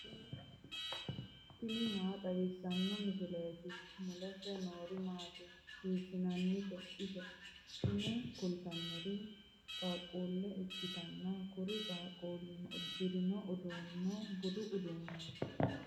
tini maa xawissanno misileeti ? mulese noori maati ? hiissinannite ise ? tini kultannori qaaquulle ikkitanna kuri qaaquullino uddirino uddano budu uddanooti.